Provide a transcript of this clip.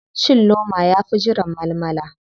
Cin loma yafi jiran malmala.